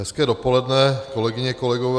Hezké dopoledne, kolegyně, kolegové.